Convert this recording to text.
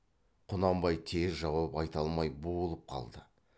құнанбай тез жауап айта алмай буылып қалды